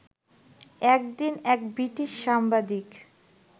একদিন এক ব্রিটিশ সাংবাদিক